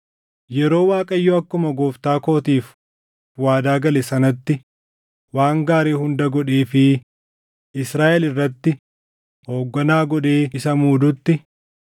Yeroo Waaqayyo akkuma gooftaa kootiif waadaa gale sanatti waan gaarii hunda godheefii Israaʼel irratti hoogganaa godhee isa muudutti,